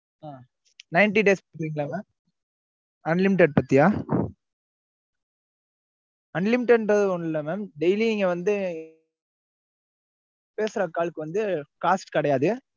ஆஹ் ninety days scheme ஆ mam unlimited பத்தியா unlimited ஒன்னு இல்ல நீங்க வந்து பேசுற calls இக்கு cost கிடையாது